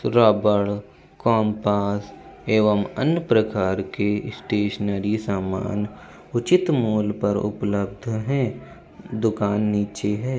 रबड़ कंपास एवम अन्य प्रकार की स्टेशनरी सामान उचित मोल पर उप्ब्लिध है | दुकान निचे है ।